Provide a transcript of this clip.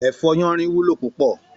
Èfò yánrìn wúló púpò